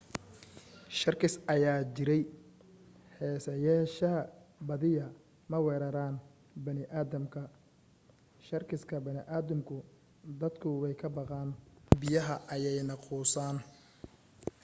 sharkis ayaa jiray haseyeeshee badiyaa ma weeraraan bani aadamka.shakiska badankoodu dadka way ka baqaan biyaha ayaanay quusaan